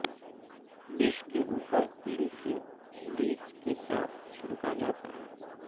dish کے اوپر تل کے بیج کے ساتھ چھڑکا جاتا ہے